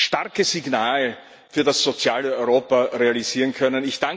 starke Signal für das soziale Europa realisieren können.